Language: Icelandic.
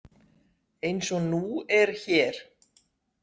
Eins og nú er hér.